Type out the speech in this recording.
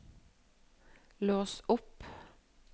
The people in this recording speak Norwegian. lås opp